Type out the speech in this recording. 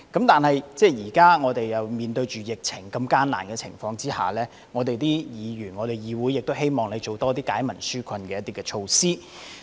但是，現時在面對疫情的艱難情況下，議會中的議員都希望"財爺"推出多些惠民紓困措施。